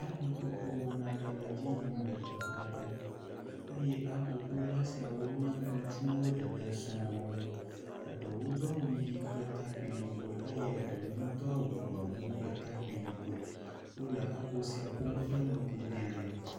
Aboƒoƒo wɔna aɖe le edzi yim le teƒe aɖe eye aboƒola siawo wonye ŋutsuwo ɖeɖe sɔŋ. Eɖewo do awu ʋi kple takpi yibɔ eye ɖewo hã do awu gbemu kple takpi yibɔe. Wo le abo sai ƒom kple ŋkubia.